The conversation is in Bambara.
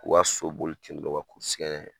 O k'a so boli ten dɔrɔn o ka kɛ n'a ye.